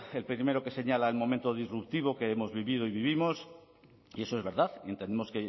el primero que señala el momento disruptivo que hemos vivido y vivimos y eso es verdad y entendemos